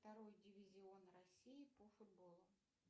второй дивизион россии по футболу